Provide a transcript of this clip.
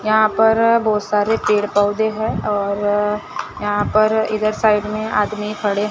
यहां पर बहोत सारे पेड़ पौधे हैं और यहां पर इधर साइड में आदमी खड़े--